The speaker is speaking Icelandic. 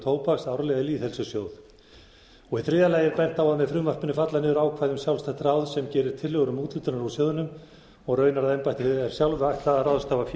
tóbaks árlega í lýðheilsusjóð í þriðja lagi er bent á að með frumvarpinu falli niður ákvæði um sjálfstætt ráð sem gerir tillögur úthlutanir úr sjóðnum og raunar að embættinu sjálfu er ætlað að ráðstafa fé